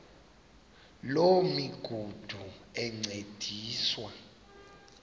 loo migudu encediswa